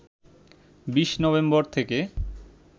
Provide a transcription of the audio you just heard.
২০ November থেকে